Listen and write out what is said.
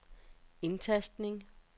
indtastning